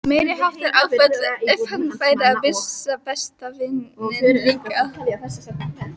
Meiriháttar áfall ef hann færi að missa besta vininn líka.